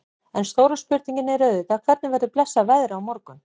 En stóra spurningin er auðvitað hvernig verður blessað veðrið á morgun?